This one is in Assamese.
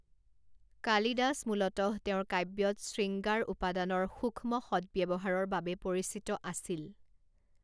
কালিদাস মূলতঃ তেওঁৰ কাব্যত শ্ৰীঙ্গাৰ উপাদানৰ সূক্ষ্ম সদ্ব্যৱহাৰৰ বাবে পৰিচিত আছিল।